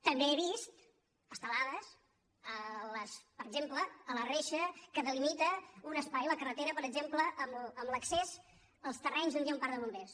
també he vist estelades per exemple a la reixa que delimita un espai a la carretera per exemple amb l’accés als terrenys on hi ha un parc de bombers